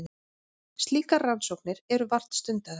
Slíkar rannsóknir eru vart stundaðar.